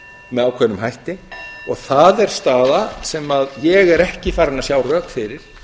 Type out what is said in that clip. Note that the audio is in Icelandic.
með ákveðnum hætti og það er staða sem ég er ekki farinn að sjá rök fyrir